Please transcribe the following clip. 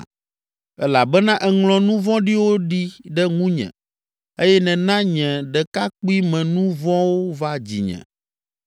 Elabena èŋlɔ nu vɔ̃ɖiwo ɖi ɖe ŋunye eye nèna nye ɖekakpuimenu vɔ̃wo va dzinye.